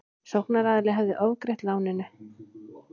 Sóknaraðili hefði ofgreitt af láninu